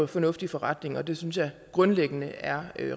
fornuftig forretning og det synes jeg grundlæggende er